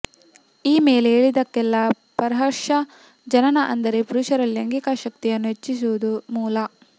ಈ ಮೇಲೆ ಹೇಳಿದ್ದಕ್ಕೆಲ್ಲಾ ಪ್ರಹರ್ಷ ಜನನ ಅಂದರೆ ಪುರುಷರಲ್ಲಿ ಲೈಂಗಿಕಾಶಕ್ತಿಯನ್ನು ಹೆಚ್ಚಿಸುವುದು ಮೂಲ